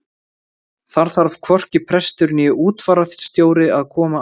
Þar þarf hvorki prestur né útfararstjóri að koma að.